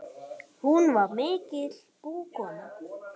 Hún var mikil búkona.